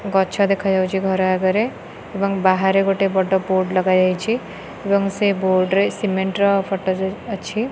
ଗଛ ଦେଖାଯାଉଛି ଘର ଆଗରେ ଏବଂ ବାହାରେ ଗୋଟେ ବଡ଼ ବୋର୍ଡ଼ ଲଗାଯାଇଛି ଏବଂ ବୋର୍ଡ଼ ରେ ସିମେଣ୍ଟ ର ଫଟୋ ଯ ଅଛି।